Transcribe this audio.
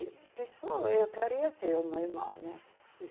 E disse, ó, eu queria ser uma irmã, né?